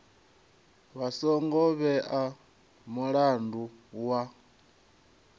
vha songo vhea mulandu wa